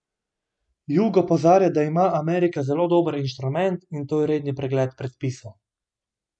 Jug opozarja, da ima Amerika zelo dober inštrument, in to je redni pregled predpisov.